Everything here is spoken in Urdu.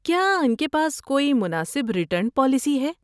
کیا ان کے پاس کوئی مناسب ریٹرن پالیسی ہے؟